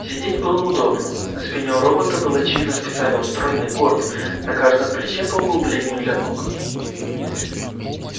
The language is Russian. сидеть было удобно на спине у робота был очевидно специально устроенный горб на каждом плече по углублению для ног